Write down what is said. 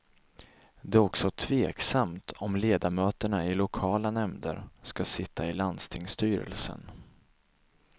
Det är också tveksamt om ledamöterna i lokala nämnder skall sitta i landstingsstyrelsen.